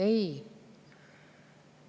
Ei!